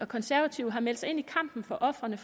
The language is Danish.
konservative har meldt sig ind i kampen for ofrene